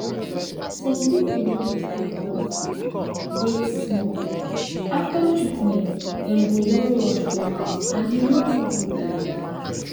some pipu no dey stay for hospital wait small after treatment dem go wan rush go house and e no too good like dat